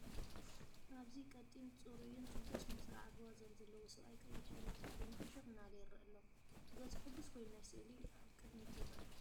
ኣብዚ ፡ ቀጢን ጸጉሩን ጽቡቕ ስነ-ስርዓት ዋዛን ዘለዎ ሰብኣይ፡ ቀይሕ ሸሚዝ ተኸዲኑ ፍሽኽ እናበለ ይርአ ኣሎ። ገጹ ሕጉስ ኮይኑ ናይ ስእሊ ኣብ ቅድሚት ይርአ።